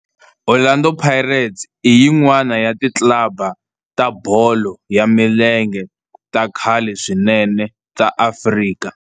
Orlando Pirates i yin'wana ya ti club ta bolo ya milenge ta khale swinene ta Afrika.